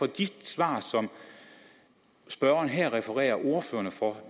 de svar som spørgeren her refererer ordførerne for